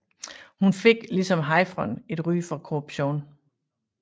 Hun fik ligesom Hayfron et ry for korruption